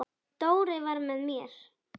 Dóri var með mér.